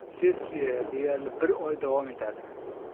Sessiya deyarli bir oy davom etadi.